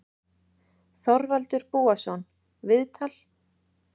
Þorvaldur Búason, viðtal